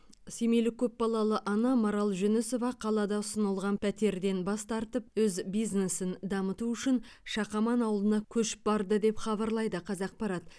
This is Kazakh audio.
семейлік көпбалалы ана марал жүнісова қалада ұсынылған пәтерден бас тартып өз бизнесін дамыту үшін шақаман ауылына көшіп барды деп хабарлайды қазақпарат